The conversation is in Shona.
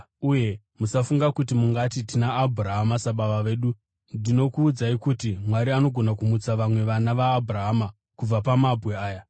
Uye musafunga kuti mungati, ‘Tina Abhurahama sababa vedu.’ Ndinokuudzai kuti Mwari anogona kumutsa vamwe vana vaAbhurahama kubva pamabwe aya.